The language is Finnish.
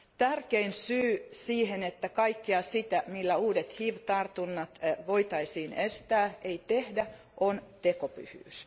Tärkein syy siihen, että kaikkea sitä, millä uudet hiv tartunnat voitaisiin estää, ei tehdä, on tekopyhyys.